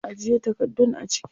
Ajiye takardun a ciki.